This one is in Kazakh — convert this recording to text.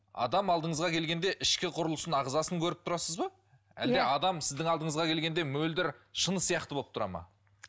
адам алдыңызға келгенде ішкі құрылысын ағзасын көріп тұрасыз ба әлде адам сіздің алдыңызға келгенде мөлдір шыны сияқты болып тұрады ма